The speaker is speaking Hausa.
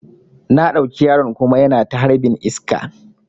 Na ɗauki yaron kuma yana ta harbin iska